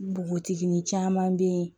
Npogotigini caman bɛ yen